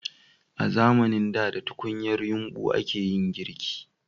A zamanin da da tukunyar yumbu a ke yin girki